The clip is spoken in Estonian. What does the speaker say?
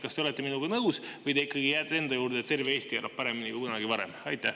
Kas te olete minuga nõus või te ikkagi jääte enda juurde, et terve Eesti elab paremini kui kunagi varem?